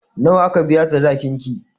Nawa aka biya sadakin ki?